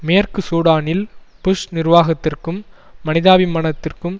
மேற்கு சூடானில் புஷ் நிர்வாகத்திற்கும் மனிதாபிமானத்திற்கும்